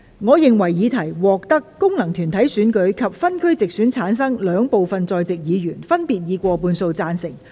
我認為議題獲得經由功能團體選舉產生及分區直接選舉產生的兩部分在席議員，分別以過半數贊成。